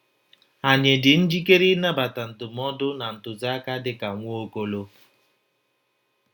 Ànyị dị njikere ịnabata ndụmọdụ na ntụziaka dị ka Nwaokolo?